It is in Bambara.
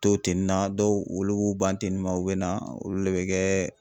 To teni na ,dɔw olu b'u ban teni ma, u bɛ na olu le bɛ kɛ